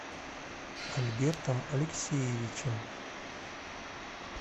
альбертом алексеевичем